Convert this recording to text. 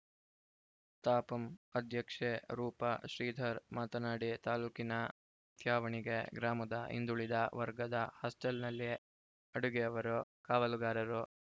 ತಾಪಂ ಅಧ್ಯಕ್ಷೆ ರೂಪ ಶ್ರೀಧರ್‌ ಮಾತನಾಡಿ ತಾಲೂಕಿನ ತ್ಯಾವಣಿಗೆ ಗ್ರಾಮದ ಹಿಂದುಳಿದ ವರ್ಗದ ಹಾಸ್ಟೆಲ್‌ನಲ್ಲಿ ಅಡುಗೆಯವರು ಕಾವಲುಗಾರರು